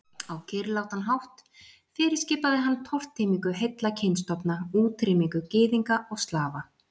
Á kyrrlátan. hátt fyrirskipaði hann tortímingu heilla kynstofna, útrýmingu Gyðinga og Slafa.